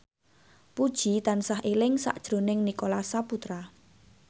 Puji tansah eling sakjroning Nicholas Saputra